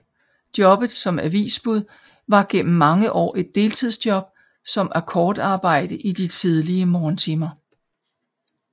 Jobbet som avisbud var gennem mange år et deltidsjob som akkordarbejde i de tidlige morgentimer